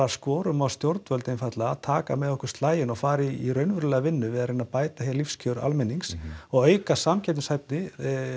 skorum á stjórnvöld að taka með okkur slaginn og fara í raunverulega vinnu við að reyna bæta hér lífskjör almennings og auka samkeppnishæfni